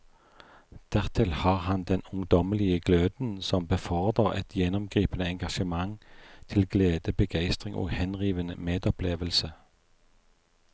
Dertil har han den ungdommelige gløden som befordrer et gjennomgripende engasjement til glede, begeistring og henrivende medopplevelse.